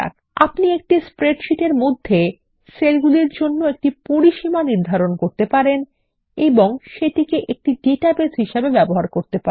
আপনি একটি স্প্রেডশীট মধ্যে সেলগুলির একটি পরিসীমা নির্ধারণ করতে পারেন ও ডাটাবেস হিসাবে ব্যবহার করতে পারেন